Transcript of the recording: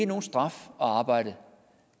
nogen straf at arbejde